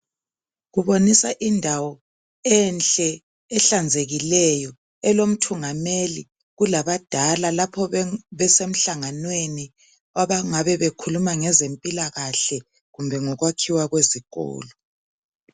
Kubonisa indawo enhle ehlanzekileyo, elomthungameli kulabadala lapho besemhlanganweni kwabangabe bekhuluma ngezempilakahle, kumbe ngokwakhiwa kwezikolo.